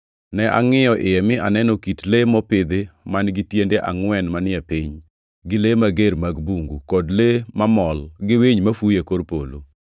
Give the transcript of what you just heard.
Ne angʼiyo iye mi aneno kit le mopidhi man-gi tiende angʼwen manie piny, gi le mager mag bungu, kod le mamol, gi winy mafuyo e kor polo.